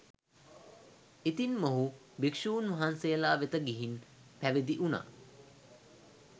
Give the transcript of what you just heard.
ඉතින් මොහු භික්ෂූන් වහන්සේලා වෙත ගිහින් පැවිදි වුනා.